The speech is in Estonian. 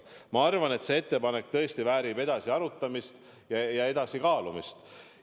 Ma arvan, et see ettepanek väärib edasist arutamist, edasist kaalumist.